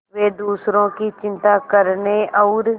वे दूसरों की चिंता करने और